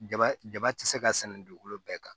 Daba daba ti se ka sɛnɛ dugukolo bɛɛ kan